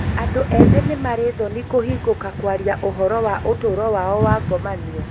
Andũ ethĩ nĩmarĩ thoni kũhingũka kwaria ũhoro wa ũtũro wao wa ngomanio